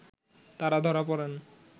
তারা ধরা পড়েন